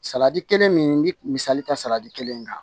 Salati kelen min bi misali ta salati kelen in kan